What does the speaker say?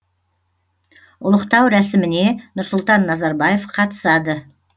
ұлықтау рәсіміне нұрсұлтан назарбаев қатысады